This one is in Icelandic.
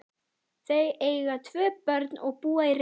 Þau eiga tvö börn og búa í Reykjavík.